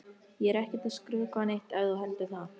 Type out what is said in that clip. Ég er ekkert að skrökva neitt ef þú heldur það.